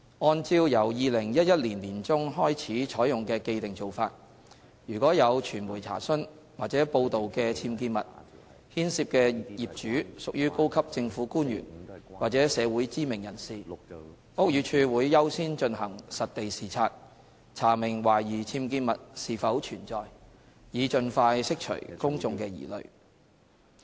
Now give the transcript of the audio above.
按照由2011年年中開始採用的既定做法，如果有傳媒查詢或報道的僭建物牽涉的業主屬高級政府官員或社會知名人士，屋宇署會優先進行實地視察，查明懷疑僭建物是否存在，以盡快釋除公眾的疑慮。